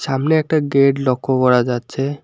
সামনে একটা গেট লক্ষ্য করা যাচ্ছে।